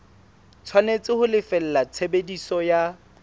tshwanetse ho lefella tshebediso ya